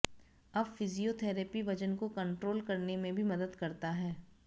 अब फिजियोथेरेपी वजन को कंटोल करने में भी मदद करता है